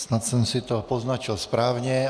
Snad jsem si to poznačil správně.